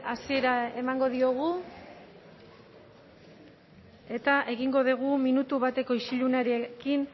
hasiera emango diogu eta egingo dugu minutu bateko isilunarekin